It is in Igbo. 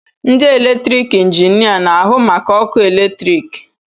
Ndị eletrik injinia na-ahụ maka ọkụ eletrik